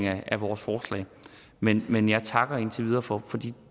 af vores forslag men men jeg takker for de